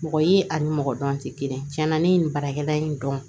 Mɔgɔ ye ani mɔgɔ dɔn tɛ kelen ye tiɲɛna ne ye nin baarakɛla in dɔn